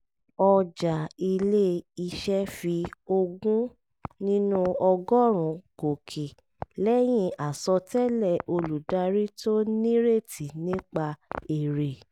ọjà ilé-iṣẹ́ fi ogún nínú ọgọ́rùn-ún gòkè lẹ́yìn àsọtẹ́lẹ̀ olùdarí tó nírètí nípa èrè